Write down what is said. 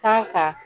Kan ka